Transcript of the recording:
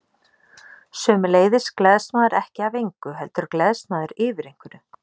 Sömuleiðis gleðst maður ekki af engu, heldur gleðst maður yfir einhverju.